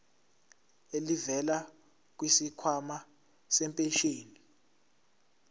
elivela kwisikhwama sempesheni